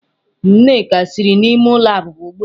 Nneka siri n'ime ulo abuba ugbua.